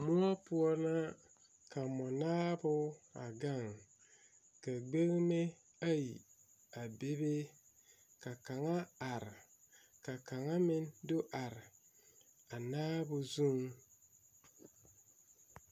Moɔ poɔ la ka mɔnaabo a gaŋ ka gbeŋme ayi a bebe ka kaŋa are ka kaŋa meŋ do are a naabo zuiŋ.